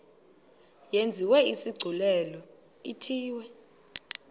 yenziwe isigculelo ithiwe